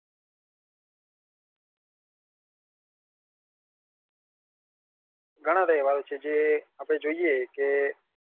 ઘણાં તહેવારો છે આપણે જોઈએ કે દીવાળી દીવાળી હિંદુઓની રમઝાન મુસલમાનોની રમઝાનમાં એ લોકોને એવું હોય કે